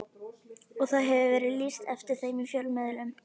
Og það hefur verið lýst eftir þeim í fjölmiðlum.